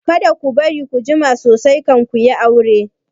Kada ku bari ku jima sosai kan ku yi aure!